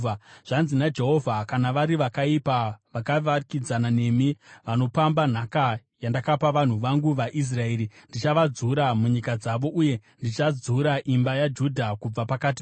Zvanzi naJehovha: “Kana vari vakaipa vakavakidzana nemi vanopamba nhaka yandakapa vanhu vangu vaIsraeri ndichavadzura munyika dzavo uye ndichadzura imba yaJudha kubva pakati pavo.